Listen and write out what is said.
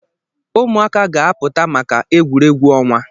Ụmụaka ga-apụta maka egwuregwu ọnwa.